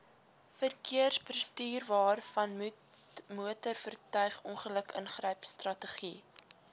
verkeersbestuurwaarvanmotorvoertuig ongeluk ingrypstrategie